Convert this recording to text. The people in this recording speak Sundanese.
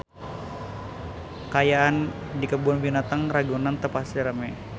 Kaayaan di Kebun Binatang Ragunan teu pati rame